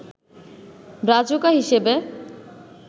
Brazuca হিসেবে